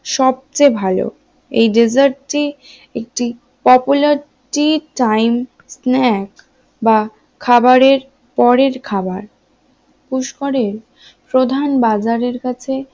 সবচেয়ে ভালো এই ডিজার্ট একটি popular টি time স্নেকস বা খাবারের পরের খাবার পুস্করের প্রধান বাজারের কাছে